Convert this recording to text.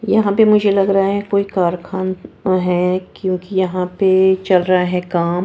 यहां पे मुझे लग रहा है कोई कारखान ना है क्योंकि यहां पे चल रहा है काम--